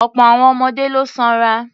Ọ̀pọ̀ àwọn ọmọdé ló sanra.